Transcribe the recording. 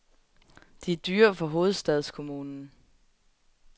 De er dyre for hovedstadskommunen.